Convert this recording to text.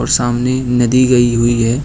सामने नदी गई हुई है।